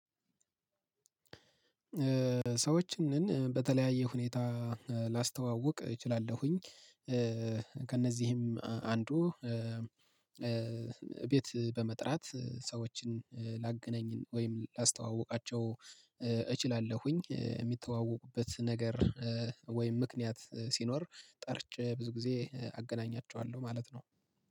ሰዎችንን በተለያየ ሁኔታ ላስተዋውቅ እችላለሁኝ። ከእነዚህም አንዱ ቤት በመጥራት ሰዎችን ላገናኝ ወይም ላስተዋውቃቸው እችላለሁኝ የሚተዋወቁበት ነገር ወይም ምክንያት ሲኖር ጠርቼ ብዙ ጊዜ አገናኛቸዋለሁ ማለት ነው